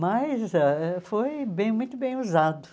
Mas ãh foi bem muito bem usado.